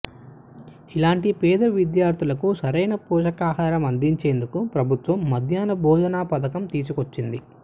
ఇలాంటి పేద విద్యార్థులకు సరైన పోషకాహారం అందించేందుకు ప్రభుత్వం మధ్యాహ్న భోజన పథకం తీసుకొచ్చింది